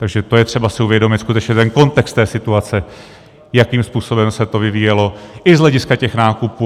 Takže to je třeba si uvědomit, skutečně, ten kontext té situace, jakým způsobem se to vyvíjelo i z hlediska těch nákupů.